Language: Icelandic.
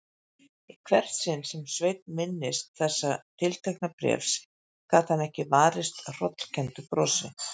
Í hvert sinn sem Sveinn minntist þessa tiltekna bréfs gat hann ekki varist hrollkenndu brosi.